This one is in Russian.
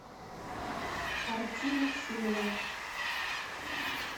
арти максимова